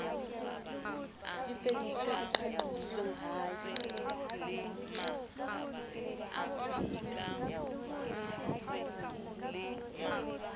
lefiswa e qaqisitsweng ha e